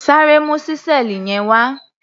Sáré mu ṣísẹ́ẹ̀lì yẹn wá!